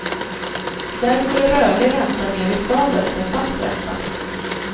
Därför är rörlig ränta mer riskabelt än fast ränta.